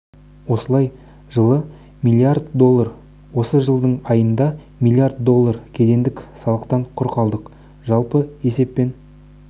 осылай жылы миллард доллар осы жылдың айында миллиард доллар кедендік салықтан құр қалдық жалпы есеппен